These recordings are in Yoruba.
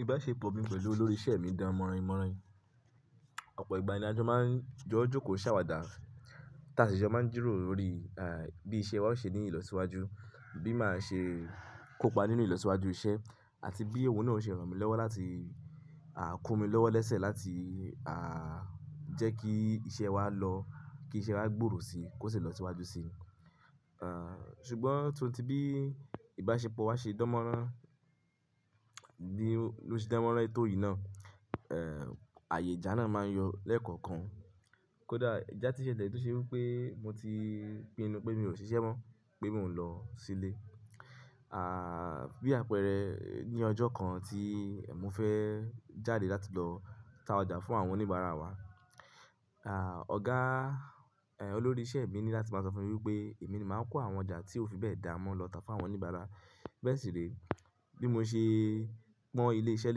Ìbáṣepọ̀ mi pẹ̀lú olórí ìṣe mi dánmọ́rinmọ́rin. Ọ̀pọ̀ ìgbà ní a jọ máa ń jóò jòókò ṣàwàdà tàsí jo máa ń jìrọ̀ro lórí, à, bí iṣẹ́ wa ó ṣe ní ìlọsíwájú, bí a máa ṣe kópa nínú ìlọsíwájú iṣẹ́ àti bí o náà ó ṣe ràn mí lọ́wọ́ láti, à, kó mi lọ́wọ́ lẹ́sẹ̀ láti, à, jẹ́ kí iṣẹ́ wa lọ́, kí iṣẹ́ wa gbòòrò si, kó sì lọ síwájú si. À, ṣùgbọ́n tóun ti bí ìbáṣepọ̀ wa ṣe dánmọ́rán ní, ló ṣe dánmọ́rán tò yìí náà, ẹ́ẹ̀, àyè ìjà náà máa n yọ lẹ́ẹ̀kọ̀kan. Kódà ìjà tí ṣele tó ṣe wí pé mo ti pinnu pé mi ò síṣẹ́ mọ́, pé mi ò ń lọ sílé. À, bí àpẹẹrẹ ní ọjọ́ kan tí è mofẹ́ jáde láti lọ ta ọjà fún àwọn oníbàárà wa, à, ọ̀gá, ẹ, olórí ìṣe mi ní láti máa sọ fún mi wípé èmi ni màá kó àwọn ọjà tí ó fi bẹ́ẹ̀ dàá mọ́ lọ tá fún àwọn oníbàárà. Bẹ́ẹ̀ sì re, bí mo ṣe pọ́n ilé iṣẹ́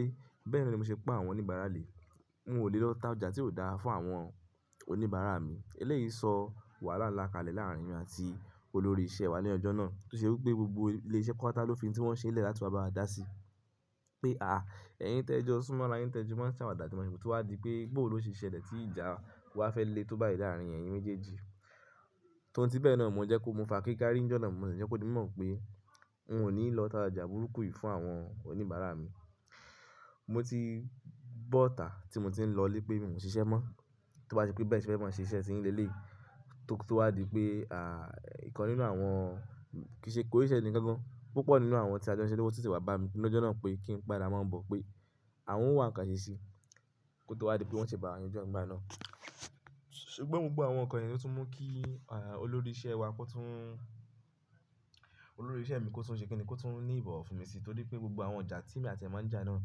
lé, bẹ́ẹ̀ ni mi ò ṣe pa àwọn oníbàárà le. N ò lè lọ tá ọjà tí ó dáa fún àwọn oníbàárà mi. Elẹ́yìí sọ wàhálà ńlá kalẹ̀ láàárín mi àti olórí ìṣe wa ní ọjọ́ náà tó ṣe wí pé gbogbo ilé iṣẹ́ pata ló fi n tí wọ́n ṣe lẹ̀ láti wá bá wa dá sí. Pé a, ẹ̀yin tẹ́jọ́ọ́ súnmọ́ ara yín tẹjo máa ń ṣàwàdà tí a máa ṣe, tó wá di pé bòó ló ṣe ṣẹlẹ̀ tí ìjà wa fẹ́ lé tó báyìí láàárín ẹ̀yin méjèèjì. Tóun ti bẹ́ẹ̀ náà mo jẹ́ kó mo fakíká rí ní ọjọ́ náà, mo sì jẹ́ kó di mọ̀ pé n ò ní lọ ta ọjà burúkú yìí fún àwọn oníbàárà mi. Mo ti bọ́ta tí mo ti ń lọ lé pé mi ò ń ṣiṣẹ́ mọ́. Tó bá ti pé bẹ́ẹ̀ sì fẹ́ máa ń ṣe iṣẹ́ tí ń le lè tó, tó wá di pé, à, nǹkan nínú àwọn kìí ṣe kó rí iṣẹ́ ni gangan, púpọ̀ nínú àwọn tí a jẹ́ iṣẹ́ ni wọ́n tìtì wá bá mi ní ọjọ́ náà pé kí n pàdé wọn mọ́, pé àwọn ń wá àǹkàṣe sí i. Kó tó wá di pé wọ́n ṣe bàa àyè ọjọ́ ìgbà náà. Ṣùgbọ́n mo gbọ́ àwọn nǹkan yìí ni ó tún mú kí, à, olórí ìṣe wa kó tún, olórí ìṣe mi kó tún ṣe kẹ́ni kó tún ní ìbọ̀wọ̀ fún mi sí torí pé gbogbo àwọn ọjà tí èmi àti ẹ̀ máa ń jà náà,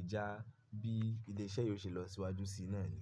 ìjà bí ilé iṣẹ́ yìí ó ṣe lọ síwájú sí í náà ni.